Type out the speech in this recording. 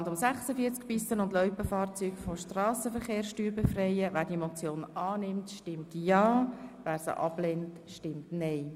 Wer sie annehmen will, stimmt ja, wer sie ablehnt, stimmt nein.